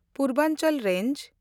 Purvanchal range